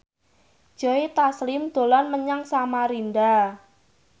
Joe Taslim dolan menyang Samarinda